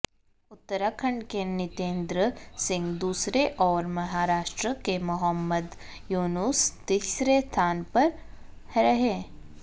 उत्तराखंड के नितेंदर सिंह दूसरे और महाराष्ट्र के मोहम्मद यूनुस तीसरे स्थान पर रहे